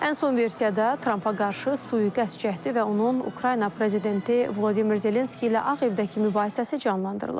Ən son versiyada Trampa qarşı sui-qəsd cəhdi və onun Ukrayna prezidenti Vladimir Zelenski ilə ağ evdəki mübahisəsi canlandırılıb.